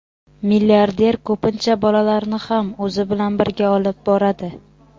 Milliarder ko‘pincha bolalarini ham o‘zi bilan birga olib boradi.